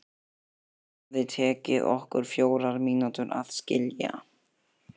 Það hefði tekið okkur fjórar mínútur að skilja.